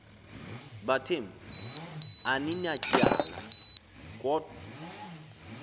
bathembu aninatyala kodw